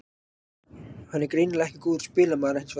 Hann er greinilega ekki góður spilamaður hinsvegar.